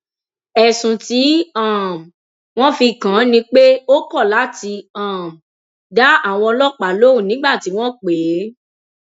ẹsùn tí um wọn fi kàn án ni pé ó kọ láti um dá àwọn ọlọpàá lóun nígbà tí wọn pè é